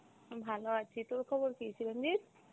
আমি ভালো আছি, তোর খবর কী চিরঞ্জিত?